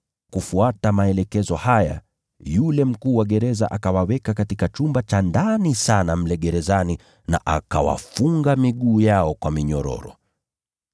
Kufuata maelekezo haya, yule mkuu wa gereza akawaweka katika chumba cha ndani sana mle gerezani, na akawafunga miguu yao kwa minyororo.